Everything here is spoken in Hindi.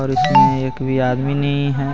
इसमें एक भी आदमी नहीं है।